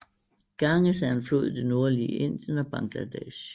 Ganges er en flod i det nordlige Indien og Bangladesh